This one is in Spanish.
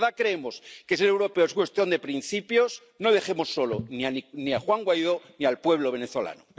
Si de verdad creemos que ser europeos es cuestión de principios, no dejemos solos ni a Juan Guaidó ni al pueblo venezolano.